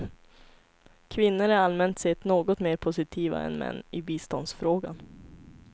Kvinnor är allmänt sett något mer positiva än män i biståndsfrågan.